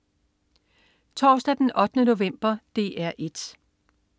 Torsdag den 8. november - DR 1: